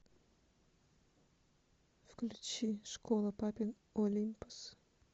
включи школа папин олимпос